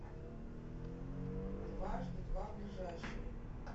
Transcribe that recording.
дважды два ближайший